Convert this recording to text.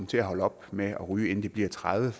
til at holde op med at ryge inden de bliver tredive